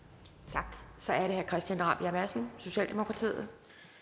tak så er det herre christian rabjerg madsen socialdemokratiet